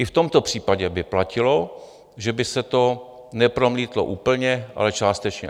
I v tomto případě by platilo, že by se to nepromítlo úplně, ale částečně.